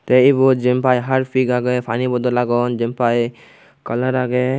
tey ebot jempai harpik agey pani bodol agon jempai kalar agey.